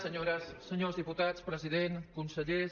senyores senyors diputats president consellers